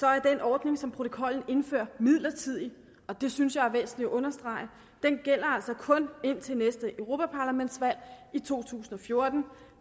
er den ordning som protokollen indfører midlertidig og det synes jeg er væsentligt at understrege den gælder altså kun indtil næste europaparlamentsvalg i to tusind og fjorten